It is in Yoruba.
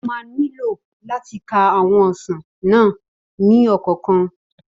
Ó ma nílò làti ka àwọn ọsàn náà ní ọ̀kọ̀ọ̀kan